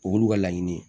Olu ka laɲini ye